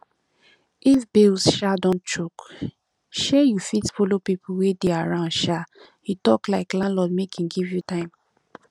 if bills um don choke um you fit follow pipo wey dey around um you talk like landlord make im give you time